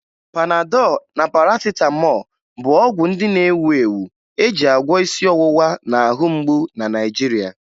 Panadọ na Parasịtamọọ bụ ọgwụ ndị na-ewu ewu e ji agwọ isi ọwụwa na ahụmgbu na Naịjirịa